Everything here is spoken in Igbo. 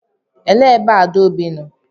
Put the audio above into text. Elee ebe Adaobi nọ?